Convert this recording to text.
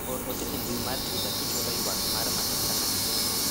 or ote e mbui mar twita kichwalo ywak mar matoka na